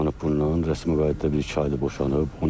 Ailəsi boşanıb bundan, rəsmi qayıdıb bir-iki aydır boşanıb.